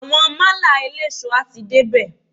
Àwọn málà eléso a ti dé bè.